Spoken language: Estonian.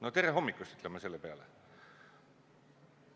No tere hommikust, ütlen ma selle peale!